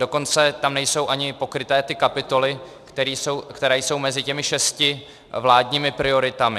Dokonce tam nejsou ani pokryté ty kapitoly, které jsou mezi těmi šesti vládními prioritami.